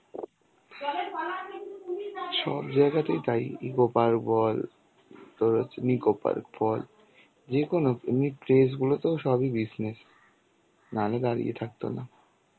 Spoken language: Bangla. সব জায়গাতেই তাই. ecopark বল তোর হচ্ছে nicopark বল, যেকোনো এমনি tress গুলোতেও সবই business না হলে দাঁড়িয়ে থাকতো না.